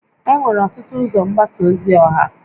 Enwere ọtụtụ ụzọ mgbasa ozi ọha